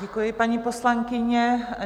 Děkuji, paní poslankyně.